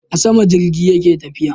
A sama jirgi yake tafiya